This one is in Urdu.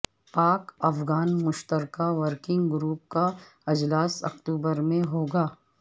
پاک افغان مشترکہ ورکنگ گروپ کا اجلاس اکتوبر میں ہو گا